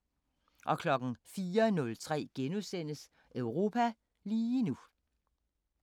04:03: Europa lige nu *